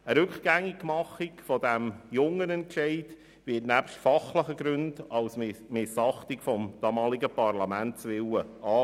Eine Rückgängigmachung dieses jungen Entscheids wird nebst fachlichen Gründen als Missachtung des damaligen Parlaments gesehen.